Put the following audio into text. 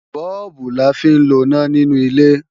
Bọ́ọ̀bù la fi ń loná nínú ilé